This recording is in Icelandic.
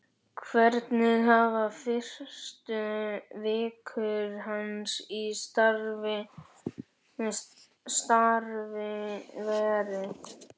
Hvernig hafa fyrstu vikur hans í starfi verið?